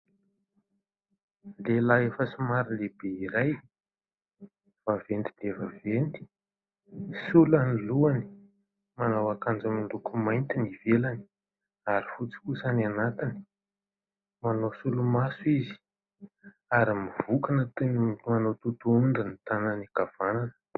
Lehilahy efa somary lehibe iray, vaventy dia vaventy, sola ny lohany. Manao akanjo miloko mainty ny ivelany ary fotsy kosa ny anatiny. Manao solomaso izy, ary mivonkona toy ny manao totohondry ny tànany an-kavanana.